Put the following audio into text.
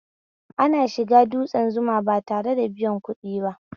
Ana shiga dutsne Zuma ba tare da biyan kuɗi ba